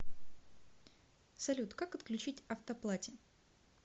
салют как отключить автоплате